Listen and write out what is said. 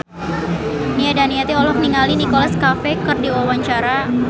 Nia Daniati olohok ningali Nicholas Cafe keur diwawancara